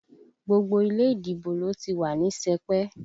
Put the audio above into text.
Gbogbo ilé ìdìbò ló ti wà ní sẹpẹ̀